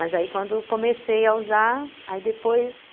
Mas aí, quando comecei a usar, aí depois...